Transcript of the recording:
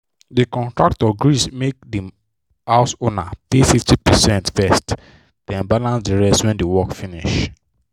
the contractor gree make the house owner pay 50 percent first then balance the rest when the work finish.